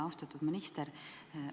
Austatud minister!